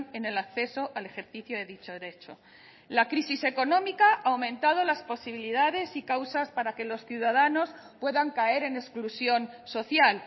en el acceso al ejercicio de dicho derecho la crisis económica ha aumentado las posibilidades y causas para que los ciudadanos puedan caer en exclusión social